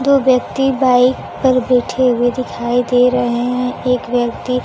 दो व्यक्ति बाइक पर बैठें हुए दिखाई दे रहे हैं एक व्यक्ति